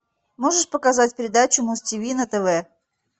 можешь показать передачу муз тиви на тв